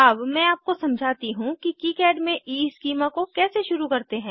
अब मैं आपको समझाती हूँ कि किकाड में ईस्कीमा को कैसे शुरू करते हैं